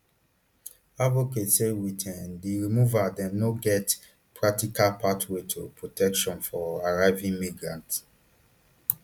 advocates say wit um di removal dem no get practical pathway to protection for arriving migrants